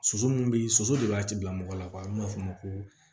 Soso min bɛ soso de b'a tigi bila mɔgɔ la an b'a fɔ o ma ko